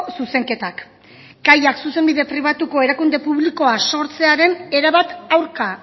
zuzenketak kaiak zuzenbide pribatuko erakunde publikoa sortzearen erabat aurka